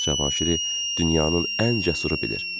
Cavanşiri dünyanın ən cəsusu bilir.